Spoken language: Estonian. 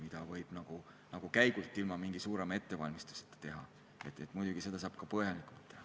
Selle modelleerimise võib nagu käigult, ilma mingi suurema ettevalmistuseta teha, aga muidugi seda saab ka põhjalikult teha.